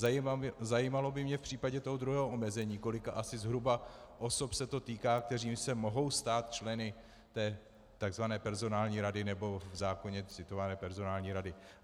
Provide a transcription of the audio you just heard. Zajímalo by mě v případě toho druhého omezení, kolika asi zhruba osob se to týká, které se mohou stát členy té tzv. personální rady, nebo v zákoně citované personální rady.